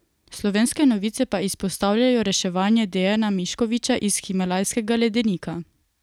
Slovenske novice pa izpostavljajo reševanje Dejana Miškoviča iz himalajskega ledenika.